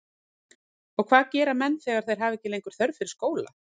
Og hvað gera menn þegar þeir hafa ekki lengur þörf fyrir skóla?